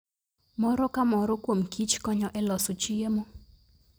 Moro ka moro kuom kich konyo e loso chiemo.